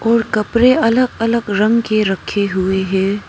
और कपड़े अलग अलग रंग के रखे हुए हैं।